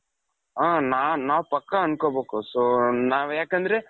ಹ ನಾನ್ ನಾವ್ ಪಕ್ಕ ಅನ್ಕೊಬೇಕು so ನಾವು ಯಾಕಂದ್ರೆ ?